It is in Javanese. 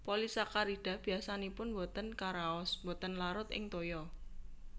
Polisakarida biasanipun botén karaos botén larut ing toya